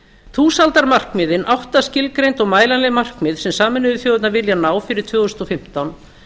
þúsaldarmarkmiðin átta skilgreind og mælanleg markmið sem sameinuðu þjóðirnar vilja ná fyrir tvö þúsund og fimmtán